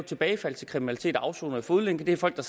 tilbagefald til kriminalitet og afsoner i fodlænke er folk der